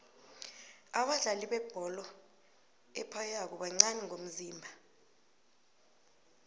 abadlali bebholo ephaywako bancani ngomzimba